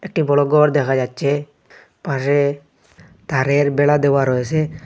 একটি বড় গর দেখা যাচ্ছে পাশে তারের বেড়া দেওয়া রয়েসে।